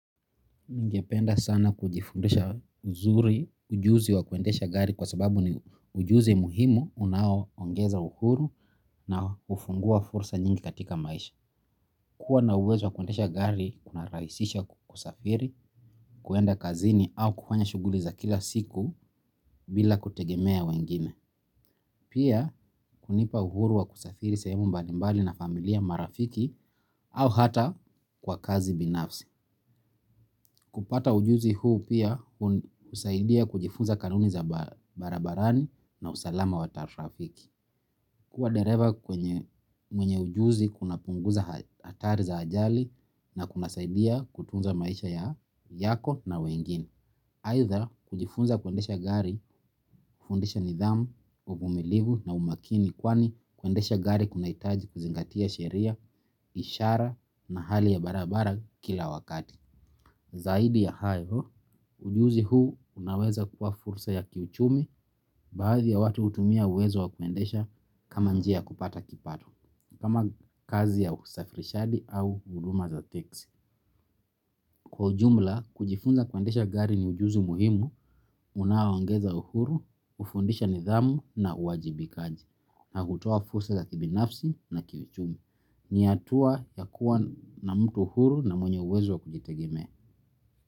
Ningependa sana kujifundisha uzuri ujuzi wa kuendesha gari kwa sababu ni ujuzi muhimu unao ongeza uhuru na hufungua fursa nyingi katika maisha. Kuwa na uwezo wa kuendesha gari, kuna rahisisha kusafiri, kuenda kazini au kufanya shughuli za kila siku bila kutegemea wengine. Pia hunipa uhuru wa kusafiri sehemu mbalimbali na familia marafiki au hata kwa kazi binafsi. Kupata ujuzi huu pia husaidia kujifunza kanuni za barabarani na usalama wa tarafiki. Kuwa dereva kwenye mwenye ujuzi kuna punguza hatari za ajali na kuna saidia kutunza maisha ya yako na wengine. Aidha kujifunza kuendesha gari, hufundisha nidhamu, uvumilivu na umakini kwani kuendesha gari kunahitaji kuzingatia sheria, ishara na hali ya barabara kila wakati. Zaidi ya hayo, ujuzi huu unaweza kuwa fursa ya kiuchumi baadhi ya watu hutumia uwezo wa kuendesha kama njia kupata kipato, kama kazi ya usafirishaji au huduma za teksi. Kwa ujumla, kujifunza kuendesha gari ni ujuzi muhimu, unaoangeza uhuru, hufundisha nidhamu na uajibikaji, na hutoa fursa za kibinafsi na kiuchumi. Ni hatua ya kuwa na mtu huru na mwenye uwezo wa kujitegimea.